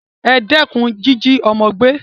E dékun jíjí ọ́mọ́ gbé